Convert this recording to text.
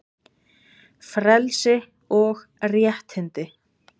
FRELSI OG RÉTTINDI